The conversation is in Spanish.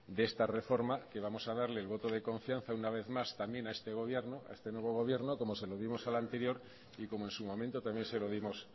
de esta reforma que vamos a darle el voto de confianza una vez más también a este nuevo gobierno como se lo dimos al anterior y como en su momento también se lo dimos